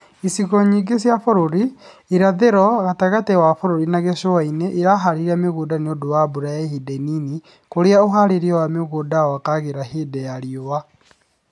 Icigo ingĩ cia bũrũri, irathĩro, gatagatĩ wa bũrũri, na gĩcũa-inĩ iraharĩria mĩgũnda nĩũndũ wa mbura ya ihinda inini kũrĩa ũharĩria wa mĩgunda wagagĩra hĩndĩ ya riũa